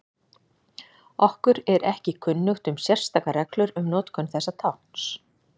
Okkur er ekki kunnugt um sérstakar reglur um notkun þessa tákns.